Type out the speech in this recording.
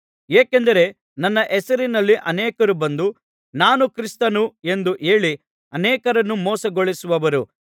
ಏಕೆಂದರೆ ನನ್ನ ಹೆಸರಿನಲ್ಲಿ ಅನೇಕರು ಬಂದು ನಾನು ಕ್ರಿಸ್ತನು ಎಂದು ಹೇಳಿ ಅನೇಕರನ್ನು ಮೋಸಗೊಳಿಸುವರು